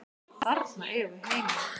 Þarna eigum við heima.